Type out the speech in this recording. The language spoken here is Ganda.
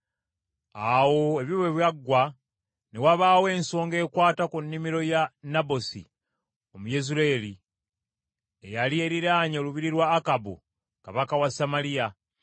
Awo ebyo bwe byaggwa, ne wabaawo ensonga ekwata ku nnimiro ya Nabosi Omuyezuleeri ey’emizabbibu, eyali eriraanye olubiri lwa Akabu kabaka wa Samaliya.